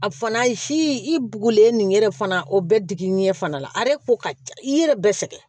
A fana si i bugulen nin ye dɛ fana o bɛɛ digi ɲɛ fana la a yɛrɛ ko ka ca i yɛrɛ bɛɛ sɛgɛn